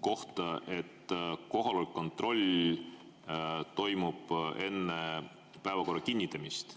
kohta, siis te mainisite, et kohaloleku kontroll toimub enne päevakorra kinnitamist.